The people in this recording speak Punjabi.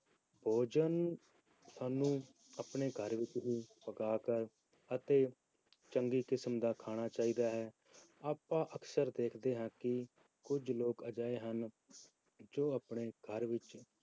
ਭੋਜਨ ਸਾਨੂੰ ਆਪਣੇ ਘਰ ਵਿੱਚ ਹੀ ਪਕਾ ਕੇ ਅਤੇ ਚੰਗੀ ਕਿਸਮ ਦਾ ਖਾਣਾ ਚਾਹੀਦਾ ਹੈ, ਆਪਾਂ ਅਕਸਰ ਦੇਖਦੇ ਹਾਂ ਕਿ ਕੁੱਝ ਲੋਕ ਅਜਿਹੇ ਹਨ, ਜੋ ਆਪਣੇ ਘਰ ਵਿੱਚ